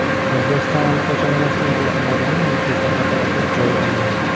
O‘zbekiston allaqachon neft import qiladigan mamlakatlar qatoridan joy olgan.